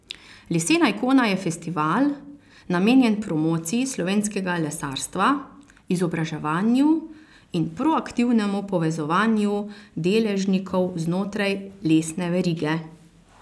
Lesena ikona je festival, namenjen promociji slovenskega lesarstva, izobraževanju in proaktivnemu povezovanju deležnikov znotraj lesne verige.